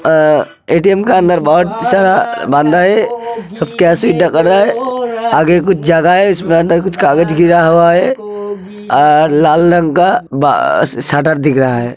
अ ATM. के अंदर बहुत सारा बंदा हैं आगे कुछ जगह है उसके अंदर कुछ कागज गिरा हुआ हैं और लाल रंग का बा शटर दिख रहा है।